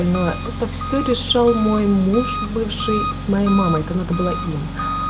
ну это всё решал мой муж бывший с моей мамой это надо было им